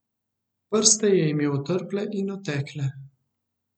Prste je imel otrple in otekle.